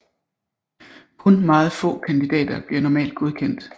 Kun meget få kandidater bliver normalt godkendt